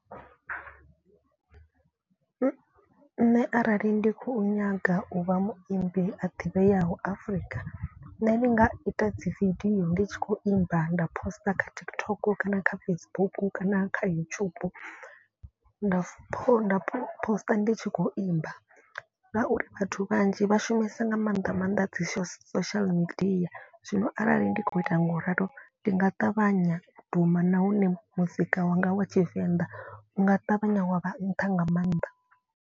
Nṋe arali ndi khou nyaga u vha muimbi a ḓivheaho Afrika nṋe ndi nga ita dzi video. Ndi tshi khou imba nda poster kha TikTok kana kha Facebook kana kha YouTube. Nda pho nda poster ndi tshi khou imba ngauri vhathu vhanzhi vha shumese nga maanḓa maanḓa dzi so social media. Zwino arali ndi khou ita ngauralo ndi nga ṱavhanya duma nahone muzika wanga wa tshivenḓa u nga ṱavhanya wa vha nṱha nga maanḓa.